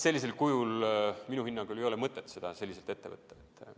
Sellisel kujul ei ole minu hinnangul mõtet seda ette võtta.